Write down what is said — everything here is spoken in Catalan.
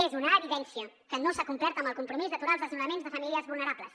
és una evidència que no s’ha complert amb el compromís d’aturar els desnonaments de famílies vulnerables